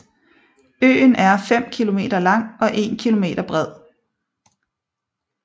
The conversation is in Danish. Øen er 5 km lang og 1 km bred